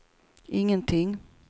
ingenting